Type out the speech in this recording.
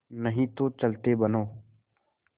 नहीं तो चलते बनो